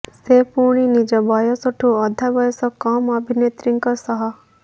ସେ ପୁଣି ନିଜ ବୟସଠୁ ଅଧା ବୟସ କମ୍ ଅଭିନେତ୍ରୀଙ୍କ ସହ